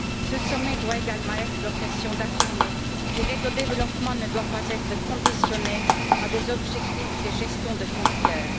Ce sommet doit également être l'occasion d'affirmer que l'aide au développement ne doit pas être conditionnée à des objectifs de gestion de frontières.